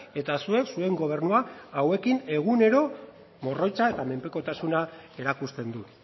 eta zuek zuen gobernua hauekin egunero morroitza eta menpekotasuna erakusten du